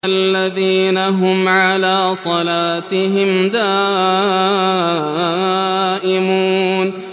الَّذِينَ هُمْ عَلَىٰ صَلَاتِهِمْ دَائِمُونَ